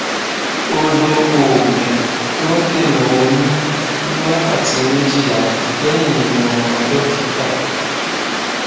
ó lo oògùn tó ń dènà oyún ní wákàtí méjìlá lẹyìn ìmọràn dókítà